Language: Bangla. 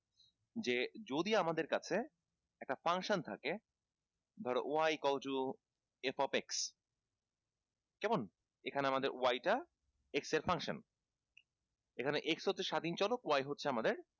যে যদি আমাদের কাছে একটা function থাকে ধরো y equal to f of x কেমন এখানে আমাদের y টা x এর function এখানে x হচ্ছে স্বাধীন চলক y হচ্ছে আমাদের